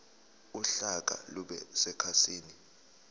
uhlaka lube sekhasini